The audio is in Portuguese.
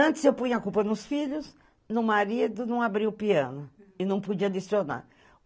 Antes, eu punha a culpa nos filhos, no marido não abria o piano e não podia licionar